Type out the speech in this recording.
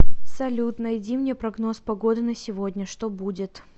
салют найди мне прогноз погоды на сегодня что будет